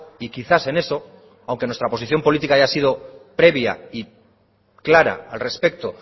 y quizás en eso aunque nuestra posición política haya sido previa y clara al respecto